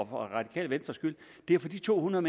radikale venstres skyld det er for de to hundrede